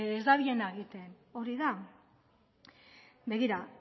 ez dabilena egiten hori da begira